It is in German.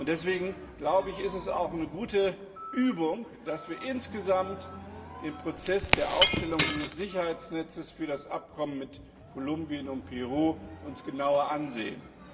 Deswegen ist es auch eine gute Übung, dass wir uns insgesamt den Prozess der Aufstellung dieses Sicherheitsnetzes für das Abkommen mit Kolumbien und Peru genauer ansehen.